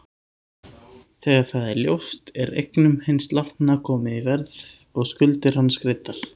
Þegar það er ljóst er eignum hins látna komið í verð og skuldir hans greiddar.